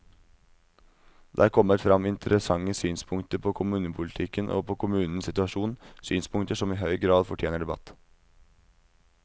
Det er kommet frem interessante synspunkter på kommunepolitikken og på kommunenes situasjon, synspunkter som i høy grad fortjener debatt.